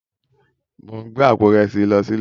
Mó n gbé àpó irèsí this lò silé